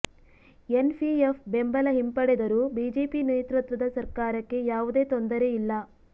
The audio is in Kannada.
ಎನ್ ಪಿಎಫ್ ಬೆಂಬಲ ಹಿಂಪಡೆದರೂ ಬಿಜೆಪಿ ನೇತೃತ್ವದ ಸರ್ಕಾರಕ್ಕೆ ಯಾವುದೇ ತೊಂದರೆ ಇಲ್ಲ